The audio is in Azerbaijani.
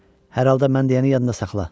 Hər halda mən deyəni yadında saxla.